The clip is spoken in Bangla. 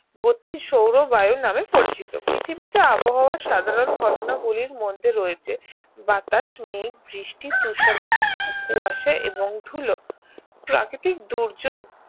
গতি সৌরবায়ু নামে পরিচিত পৃথিবীতে আবহাওয়ার সাধারণ ঘটনা গুলির মধ্যে রয়েছে বাতাস মেঘ-বৃষ্টি তুশর কুয়াশা এবং ধুলো প্রাকৃতিক দুর্যোগ